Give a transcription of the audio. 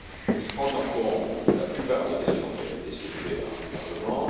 Il prend en compte la plupart des questions qui avaient été soulevées par le Parlement.